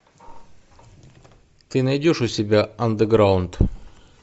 ты найдешь у себя андеграунд